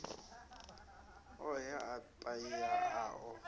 ohe a paia a o